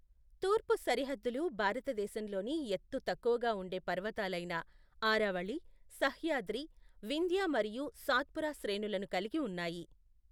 తూర్పు సరిహద్దులు భారతదేశంలోని ఎత్తు తక్కువగా ఉండే పర్వతాలైన, ఆరావళి, సహ్యాద్రి, వింధ్య మరియు సాత్పురా శ్రేణులను కలిగి ఉన్నాయి.